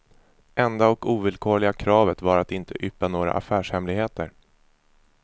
Enda och ovillkorliga kravet var att inte yppa några affärshemligheter.